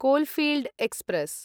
coalfield express